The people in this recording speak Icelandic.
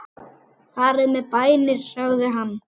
Farið með bænir sagði hann.